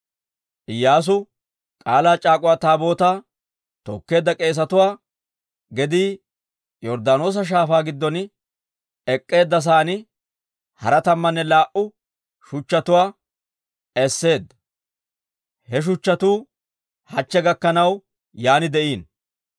Iyyaasu K'aalaa c'aak'uwa Taabootaa tookkeedda k'eesatuwaa gedii Yorddaanoosa Shaafaa giddon ek'k'eedda sa'aan, hara tammanne laa"u shuchchatuwaa esseedda; he shuchchatuu hachche gakkanaw yaan de'iino.